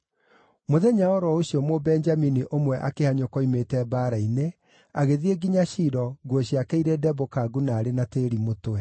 Mũthenya o ro ũcio Mũbenjamini ũmwe akĩhanyũka oimĩte mbaara-inĩ, agĩthiĩ nginya Shilo, nguo ciake irĩ ndembũkangu na aarĩ na tĩĩri mũtwe.